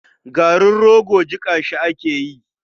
Garin rogo jiƙa shi ake yi.